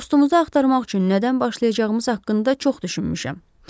Dostumuzu axtarmaq üçün nədən başlayacağımız haqqında çox düşünmüşəm.